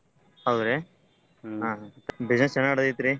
ಹೌದ್ರಿ? business ಚೆನಾಗ್ ನಡ್ದೇತ್ರಿ?